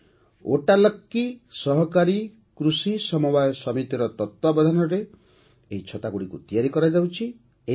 'ୱଟ୍ଟାଲକ୍କୀ ସହକାରୀ କୃଷି ସମବାୟ ସମିତି'ର ତତ୍ତ୍ୱାବଧାନରେ ଏହି ଛତାଗୁଡ଼ିକ ତିଆରି କରାଯାଉଛି